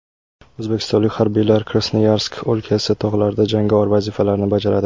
O‘zbekistonlik harbiylar Krasnoyarsk o‘lkasi tog‘larida jangovar vazifalarni bajaradi.